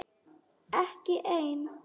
Ekki ein?